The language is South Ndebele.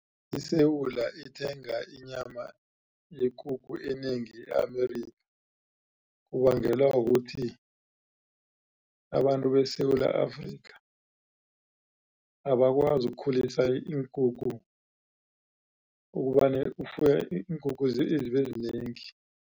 ISewula ithenga inyama yekukhu enengi e-Amerika kubangelwa kukuthi abantu beSewula Afrika abakwazi ukukhulisa iinkukhu ukufuya iinkukhu zibe zinengi.